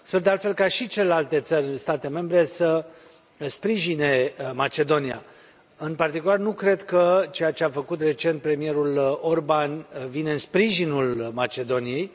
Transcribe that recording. Sper, de altfel, ca și celelalte state membre să sprijine Macedonia. În particular, nu cred că ceea ce a făcut recent premierul Orbán vine în sprijinul Macedoniei.